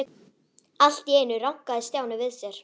Allt í einu rankaði Stjáni við sér.